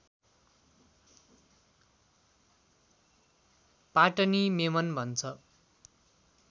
पाटनी मेमन भन्छन्